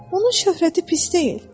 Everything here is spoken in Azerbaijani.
Onun şöhrəti pis deyil.